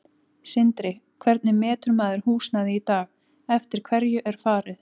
Sindri: Hvernig metur maður húsnæði í dag, eftir hverju er farið?